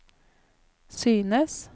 synes